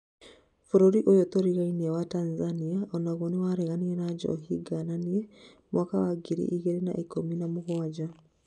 Bũrũri ũyũ tũrigainie wa Tanzania onagũo nĩwarareganire na njohi ngananie, mwaka wa ngiri ĩgĩrĩ na ikũmi na mũgwanja